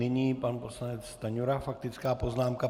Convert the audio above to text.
Nyní pan poslanec Stanjura - faktická poznámka.